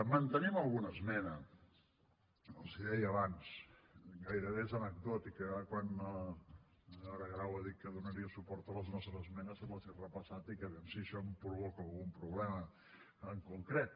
mantenim alguna esmena els ho deia abans gairebé és anecdòtica era quan la senyora grau ha dit que donaria suport a les nostres esmenes i les he repassat i dic a veure si això em provoca algun problema en concret